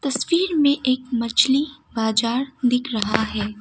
तस्वीर में एक मछली बाजार दिख रहा है।